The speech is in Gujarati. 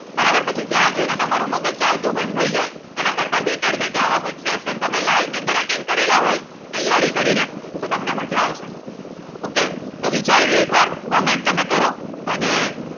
બરાબર પછી ત્યાં જોઈને તારો મગજ ચાલતું બંધ થઇ જાય એના કરતા Better છે કે આવા કઈ Fashion તમે Live ની અંદર Attend કરેલા હોય તૈયારી કરીને તો તમને મજા આવશે Okay તો વિચારી લો એક વાર Comment તમેકરો